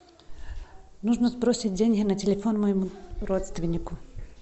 нужно сбросить деньги на телефон моему родственнику